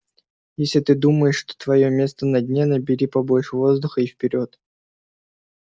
если ты думаешь что твоё место на дне набери побольше воздуха и вперёд